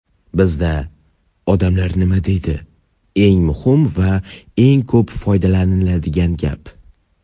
Bizda "odamlar nima deydi" eng muhim va eng ko‘p foydalaniladigan gap.